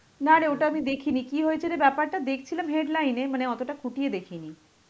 না রে ওটা আমি দেখিনি, কি হয়েছে রে ব্যাপারটা? দেখছিলাম headline এ, মানে অতটা খুটিয়ে দেখিনি.